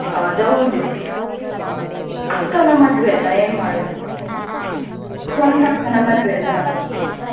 ಅದೌದು ಅಕ್ಕನ ಮದುವೆ ಅಲ್ಲ ಏನ್ ಮಾಡೋದು ಸ್ವಂತ ಅಕ್ಕನ ಮದುವೆ ಅಲ್ಲ.